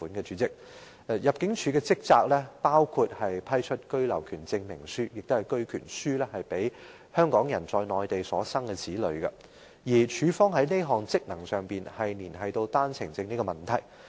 主席，入境處的職責包括批出居留權證明書予香港人在內地所生子女，而入境處這項職能連繫到單程證問題。